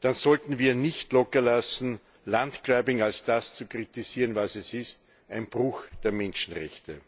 dann sollten wir nicht lockerlassen, landgrabbing als das zu kritisieren, was es ist ein Bruch der Menschenrechte.